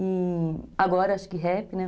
E agora acho que rap, né?